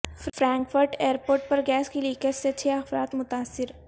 Frankfurt airport پر gas کی leakage سے چھ افراد متاثر